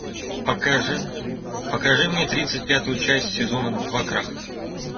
покажи покажи мне тридцать пятую часть сезона два крах